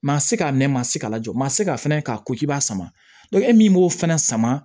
Ma se ka mɛn maa si ka lajɔ ma se ka fɛnɛ k'a ko k'i b'a sama e min b'o fana sama